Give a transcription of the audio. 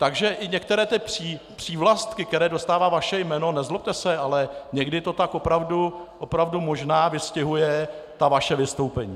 Takže i některé ty přívlastky, které dostává vaše jméno, nezlobte se, ale někdy to tak opravdu možná vystihuje ta vaše vystoupení.